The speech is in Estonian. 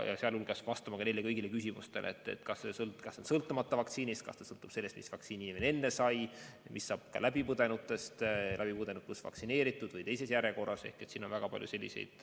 Vastata tuleb ka kõigile neile küsimustele, kas intervall sõltub vaktsiinist, kas see sõltub sellest, mis vaktsiini inimene sai, mis saab läbipõdenutest, läbipõdenud pluss vaktsineeritutest või teises järjekorras, kõigepealt vaktsineeritutest ja siis läbipõdenutest.